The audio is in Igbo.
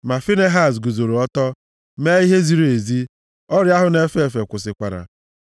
Ma Finehaz guzoro ọtọ, mee ihe ziri ezi, ọrịa ahụ na-efe efe kwụsịkwara.